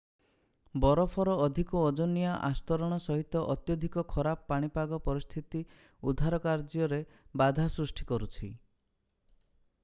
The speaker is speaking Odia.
ବରଫର ଅଧିକ ଓଜନିଆ ଆସ୍ତରଣ ସହିତ ଅତ୍ୟଧିକ ଖରାପ ପାଣିପାଗ ପରିସ୍ଥିତି ଉଦ୍ଧାର କାର୍ଯ୍ୟରେ ବାଧା ସୃଷ୍ଟି କରୁଛି